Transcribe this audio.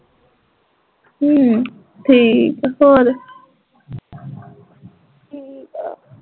ਅਮ ਠੀਕ ਆ ਹੋਰ